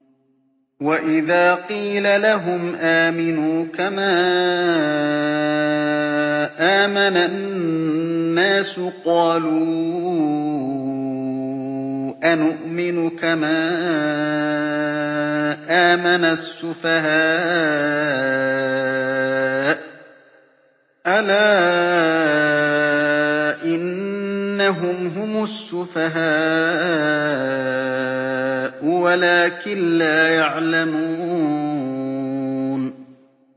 وَإِذَا قِيلَ لَهُمْ آمِنُوا كَمَا آمَنَ النَّاسُ قَالُوا أَنُؤْمِنُ كَمَا آمَنَ السُّفَهَاءُ ۗ أَلَا إِنَّهُمْ هُمُ السُّفَهَاءُ وَلَٰكِن لَّا يَعْلَمُونَ